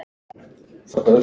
Tóti yppti öxlum.